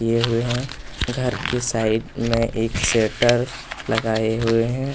किये हुए है घर के साइड में एक शटर लगाये हुए हैं।